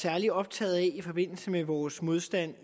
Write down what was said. særlig optaget af i forbindelse med vores modstand